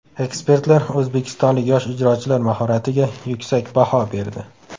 Ekspertlar o‘zbekistonlik yosh ijrochilar mahoratiga yuksak baho berdi.